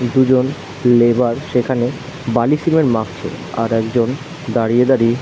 দুজন লেবার সেখানে বালি সিমেন্ট মাখছে আর একজন দাঁড়িয়ে দাঁড়িয়ে --